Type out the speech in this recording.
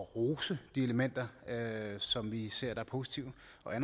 at rose de elementer som vi ser som positive